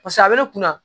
a bɛ ne kunna